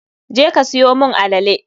je ka siyo mun alele.